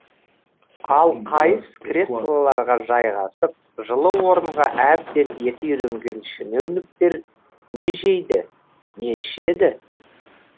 ал қайыс креслоларға жайғасып жылы орынға әбден еті үйренген шенеуніктер не жейді не ішеді